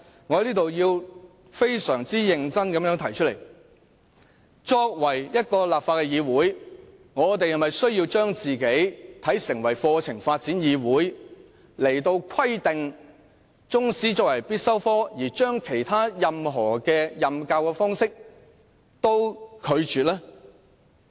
我要非常認真地表明，立法會是否要成為香港課程發展議會，規定中史科成為必修科，拒絕其他任何教學方式？